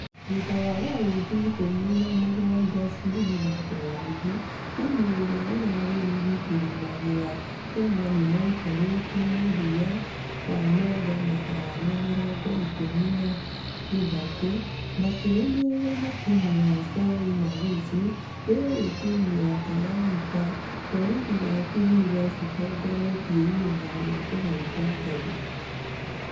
Thutha wa raũndi ikũmi na mũgwaja cia mĩthako ya rigi, timũ ĩrĩa ĩrarĩ rigi kĩrĩma gĩa kenya nĩmaikarĩtĩ mũthia wa metha na arama mĩrongo ikũmi na ithatũ. Makĩrũmĩrĩrwo na timũ ya soy na gusii , rĩrĩ timũ cia talanta , borithi na vihiga cĩtongorĩtie ihenya rĩa kũhaiba ngathĩ.